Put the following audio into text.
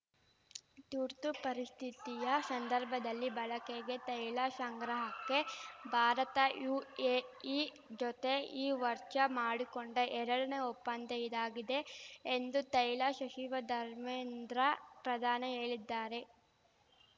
ತುರ್ತು ಪರಿಸ್ಥಿತಿಯ ಸಂದರ್ಭದಲ್ಲಿ ಬಳಕೆಗೆ ತೈಲ ಶಂಗ್ರಹಕ್ಕೆ ಭಾರತ ಯುಎಇ ಜೊತೆ ಈ ವರ್ಷ ಮಾಡಿಕೊಂಡ ಎರಡನೇ ಒಪ್ಪಂದ ಇದಾಗಿದೆ ಎಂದು ತೈಲ ಶಚಿವ ಧರ್ಮೇಂದ್ರ ಪ್ರಧಾನ ಹೇಳಿದ್ದಾರೆ